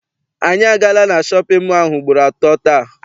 Anyị agaala na shọpịn mọọ ahụ ugboro atọ taa.